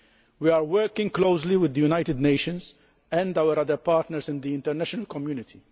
We are working closely with the United Nations and our other partners in the international community.